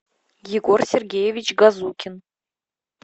егор сергеевич газукин